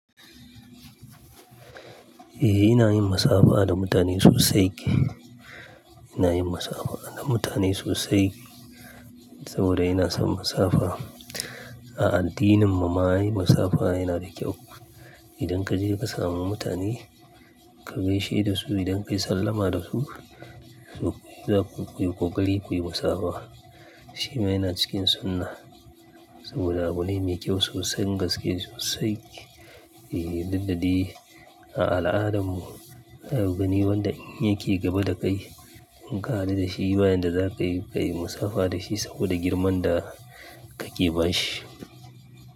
Eh, ina yin masabi, a da mutane sosai. Ina yin masafa da mutane sosai saboda ina son masabi, a. A addinin mu ma yi musafa, a yana da kyau. Idan ka je ka samu mutane ka gaishe da su, idan ka yi sallama da su, za ku koyi ƙoƙari, kuyi musaba, a. Shi ma yana cikin sunna saboda abune mai kyau sosan, gaske sosai. E, diddadai a al'adan mu, ayo gani wanda yake gaba da kai ka haɗu da shi bayan da za ka yi, ka yi masafa, a da shi saboda girman da ka ke ba shi.